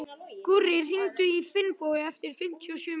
Gurrí, hringdu í Finnbogu eftir fimmtíu og sjö mínútur.